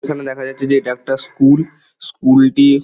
এখানে দেখা যাচ্ছে যে এটা একটা স্কুল স্কুল -টি--